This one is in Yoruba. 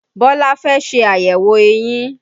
Bọlá fẹ́ ṣe àyẹ̀wò eyín